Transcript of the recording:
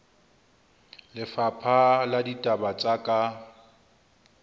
lefapha la ditaba tsa ka